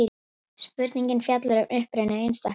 Spurningin fjallar um uppruna einstaklings.